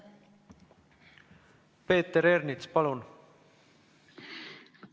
Peeter Ernits, palun!